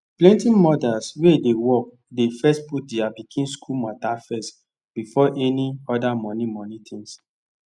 plenty mothers wey dey work dey first put dia pikin school mata first before any oda moni moni tins